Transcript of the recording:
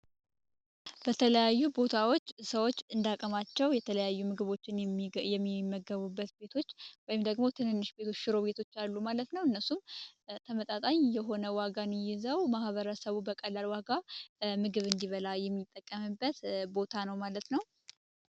በተለያዩ ቦታዎች ሰዎች እንዳቅማቸው የተለያዩ ምግቦችን የሚመገቡበት ወይም ሽሮ ቤቶች አሉ ማለት ነው እነሱም ተመጣጣኝ የሆነ ዋጋን ይዘው ማበረሰቡ በቀላል ዋጋ ምግብ እንዲበላ የሚጠቀመበት ቦታ ነው ማለት ነው።